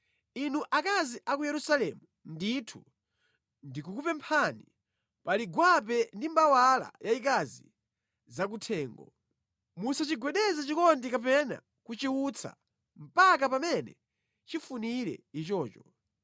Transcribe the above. Inu akazi a ku Yerusalemu, ndithu ndikukupemphani pali gwape ndi mbawala yayikazi zakuthengo: Musachigwedeze chikondi kapena kuchiutsa mpaka pamene chifunire ichocho.